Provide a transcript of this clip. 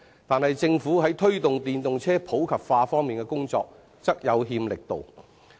但是，政府在推動電動車普及化方面的工作則有欠力度。